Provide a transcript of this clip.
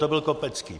To byl Kopecký!